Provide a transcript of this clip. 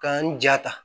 K'an ja ta